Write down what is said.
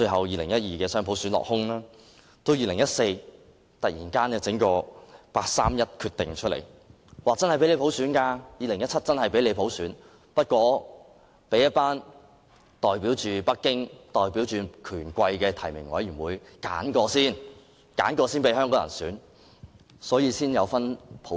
2014年，又突然拋出人大常委會八三一決定，讓香港在2017年實行普選，但是經由代表北京和權貴的提名委員會挑選後才讓香港人普選。